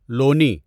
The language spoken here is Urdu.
لونی